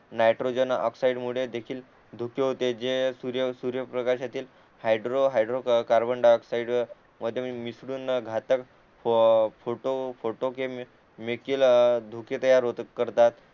nitrogen oxide मुळे देखील धुके होते जे सूर्य सूर्य प्रकाशातील hydro hydrocarbon dioxide मध्ये मिसळून घातक फोटो फोटो केमिकल धुके तयार होतात करतात